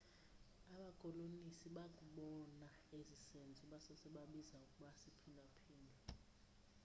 abakolonisi bakubona esi senzo basose babiza ukuba siphinda phindwe